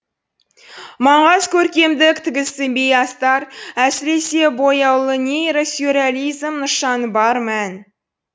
маңғаз көркемдік тігісі бей астар әсіресе бояулы нейросюрреализм нышаны бар мән